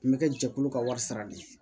N bɛ kɛ jɛkulu ka wari sara de ye